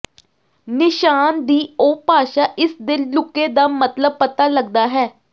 ਨਿਸ਼ਾਨ ਦੀ ਉਹ ਭਾਸ਼ਾ ਇਸ ਦੇ ਲੁਕੇ ਦਾ ਮਤਲਬ ਪਤਾ ਲੱਗਦਾ ਹੈ